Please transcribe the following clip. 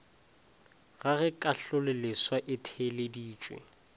ga ge kahlololeswa e theeleditšwe